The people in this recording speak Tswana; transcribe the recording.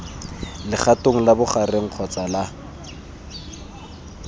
legatong la bogareng kgotsa la